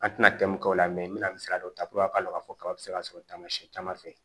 An tɛna tɛmɛ mun k'o la n bɛna misaliya dɔ ta a k'a dɔn k'a fɔ kaba bɛ se ka sɔrɔ taamasiyɛn caman fɛ